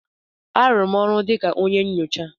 A rụrụ m ọrụ dịka onye nyocha.